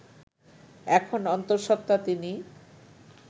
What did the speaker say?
এখন অন্তঃসত্ত্বা তিনি